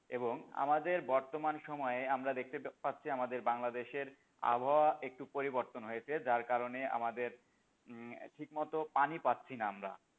এবং আমাদের বর্তমান সময়ে দেখতে পাচ্ছি আমাদের বাংলাদেশের আবহাওয়া একটু পরিবর্তন হয়েছে যার কারণে আমাদের হম ঠিক মত পানি পাচ্ছি না আমরা,